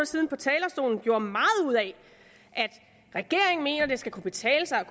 siden på talerstolen gjorde meget ud af at regeringen mener at det skal kunne betale sig at